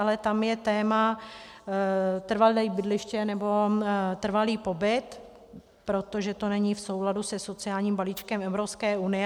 Ale tam je téma trvalé bydliště, nebo trvalý pobyt, protože to není v souladu se sociálním balíčkem Evropské unie.